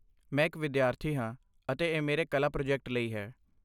ਮੈਂ ਇੱਕ ਵਿਦਿਆਰਥੀ ਹਾਂ ਅਤੇ ਇਹ ਮੇਰੇ ਕਲਾ ਪ੍ਰੋਜੈਕਟ ਲਈ ਹੈ।